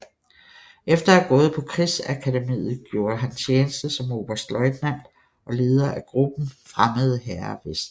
Efter at have gået på krigsakademiet gjorde han tjeneste som oberstløjtnant og leder af gruppen Fremmede Hære Vest